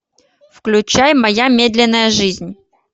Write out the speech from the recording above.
включай моя медленная жизнь